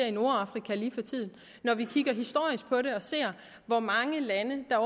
i nordafrika og når vi kigger historisk på det og ser hvor mange lande der